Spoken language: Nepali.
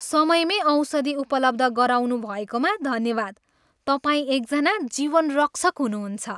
समयमै औषधि उपलब्ध गराउनुभएकोमा धन्यवाद। तपाईँ एकजना जीवनरक्षक हुनुहुन्छ।